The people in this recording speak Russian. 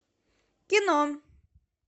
кино